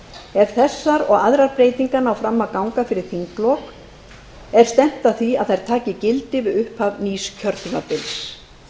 þessar og aðrar breytingar ná fram að ganga fyrir þinglok er stefnt að því að þær taki gildi við upphaf nýs kjörtímabils